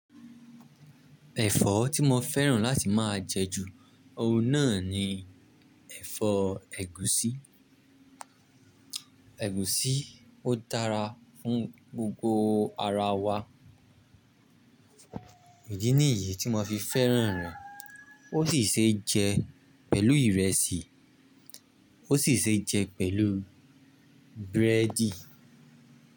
Ẹ̀fọ́ tí mo fẹ́ràn láti máa jẹ ju ohun náà ni ẹ̀fọ́ ẹ̀gúsí. Ẹ̀gúsí ó dára fún gbogbo ara wa. Idí nìyí tí mo fi fẹ́ràn rẹ̀, ó sì ṣe é jẹ pẹ̀lú ìrẹsì, ó sì ṣe é jẹ pẹ̀lú búrẹ́dì.